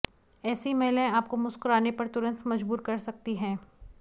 ऐसी महिलाएं आपको मुस्कुराने पर तुरंत मजबूर कर सकती हैं